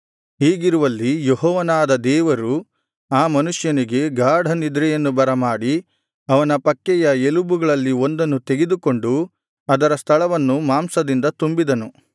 ಹೀಗಿರುವಲ್ಲಿ ಯೆಹೋವನಾದ ದೇವರು ಆ ಮನುಷ್ಯನಿಗೆ ಗಾಢನಿದ್ರೆಯನ್ನು ಬರಮಾಡಿ ಅವನ ಪಕ್ಕೆಯ ಎಲುಬುಗಳಲ್ಲಿ ಒಂದನ್ನು ತೆಗೆದುಕೊಂಡು ಅದರ ಸ್ಥಳವನ್ನು ಮಾಂಸದಿಂದ ತುಂಬಿದನು